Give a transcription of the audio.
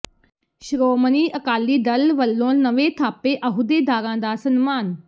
ਸ਼੍ਰੋਮਣੀ ਅਕਾਲੀ ਦਲ ਵਲੋਂ ਨਵੇਂ ਥਾਪੇ ਅਹੁਦੇਦਾਰਾਂ ਦਾ ਸਨਮਾਨ